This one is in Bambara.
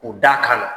U da kan